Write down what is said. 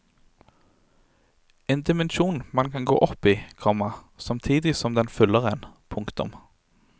En dimensjon man kan gå opp i, komma samtidig som den fyller en. punktum